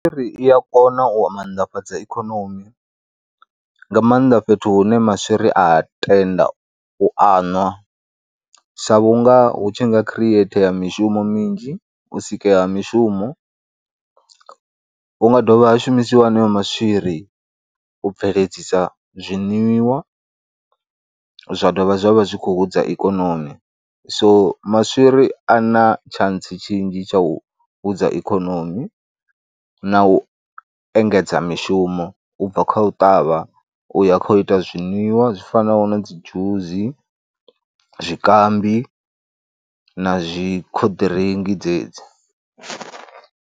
Ngauri i ya kona u maanḓafhadza ikonomi nga maanḓa fhethu hune maswiri a tenda u aṅwa sa vhunga hu tshi nga khireithea mishumo minzhi, u sikeya ha mishumo, hu nga dovha ha shumisiwa heneyo maswiri u bveledzisa zwiṅwiwa zwa dovha zwa vha zwi khou hudza ikonomi so maswiri a na tshantsi tshinzhi tsha u hudza ikonomi na u engedza mishumo u bva kha u ṱavha u ya kha u ita zwiṅwiwa zwi fanaho na dzi dzhusi, zwikambi na zwi khoḓiringi dzedzi.